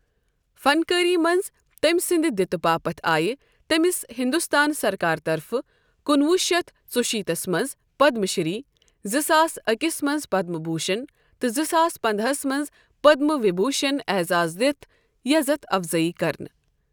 فن کٲری منٛز تٔمۍ سٕنٛدِ دِتہِ باپت آیہِ تٔمِس ہنٛدستٲنۍ سرکارٕ طرفہٕ کُنہ وُہ شتھ ژۄشیتھس منٛز پدم شِری، زٕ ساس اکھس منٛز پدم بھوشن تہٕ زٕساس پنداہس منٛز پدم وِبھوشن اعزاز دِتھ یزتھ افضٲیی كرنہٕ ۔